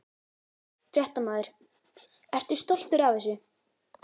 Fréttamaður: Ertu stoltur af þessu?